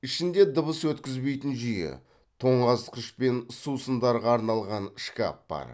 ішінде дыбыс өткізбейтін жүйе тоңазытқыш пен сусындарға арналған шкаф бар